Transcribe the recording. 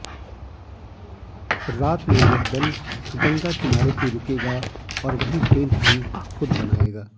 रात में यह दल गंगा किनारे ही रुकेगा और वहीं टैंट भी खुद बनाएगा